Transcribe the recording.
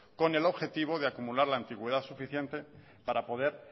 con el objetivo de acumular la antigüedad suficiente para poder